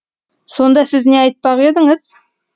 сонда сіз не айтпақ едіңіз